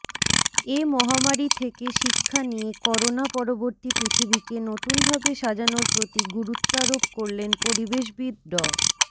এ মহামারি থেকে শিক্ষা নিয়ে করোনা পরবর্তী পৃথিবীকে নতুনভাবে সাজানোর প্রতি গুরুত্বারোপ করলেন পরিবেশবিদ ড